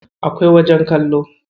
Akwai wajen kallo.